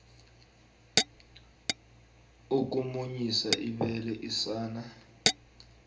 ukumunyisa ibele isana